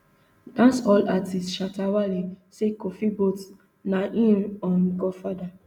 dancehall artiste shatta wale say kofi boat na im um godfather